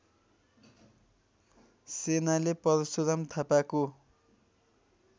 सेनाले परशुराम थापाको